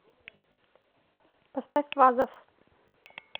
поставь вазов